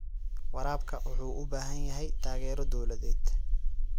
Waraabka wuxuu u baahan yahay taageero dowladeed.